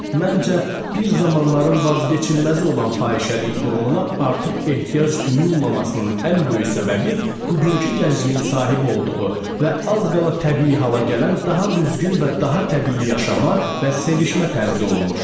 Məncə, bir zamanların vazkeçilməz olan fahişəlik qurumuna artıq ehtiyac duyulmamasının ən böyük səbəbi bugünkü gəncliyin sahibi olduğu və az qala təbii hala gələn daha düzgün və daha təbii yaşama və sevişmə tərzi olmuşdu.